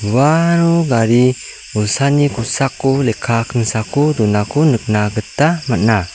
uano gari bolsani kosako lekka kingsako donako nikna gita man·a.